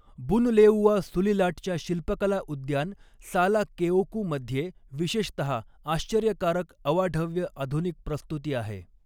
Bunleua सुलिलाटच्या शिल्पकला उद्यान साला केओकूमध्ये विशेषतः आश्चर्यकारक अवाढव्य आधुनिक प्रस्तुती आहे.